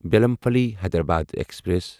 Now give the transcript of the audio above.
Bellampalli Hyderabad express